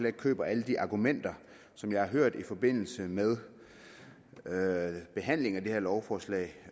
ikke køber alle de argumenter som jeg har hørt i forbindelse med med behandlingen af det her lovforslag